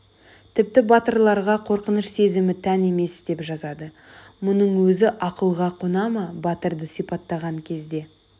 тіпті батырларға қорқыныш сезімі тән емес деп жазады мұның өзі ақылға қона ма батырды сипаттаған кезде